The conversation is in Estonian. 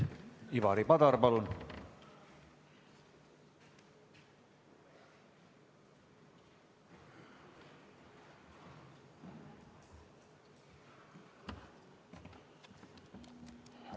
Ivari Padar, palun!